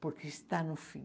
Porque está no fim.